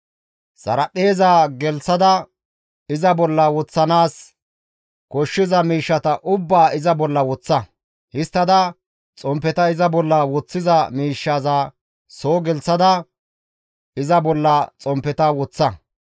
Xaraphpheezaa gelththada iza bolla wodhdhanaas koshshiza miishshata ubbaa iza bolla woththa. Histtada xomppeta iza bolla woththiza miishshaza soo gelththada iza bolla xomppeta woththa.